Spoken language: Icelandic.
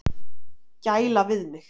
Gæla við mig.